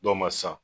Dɔw ma san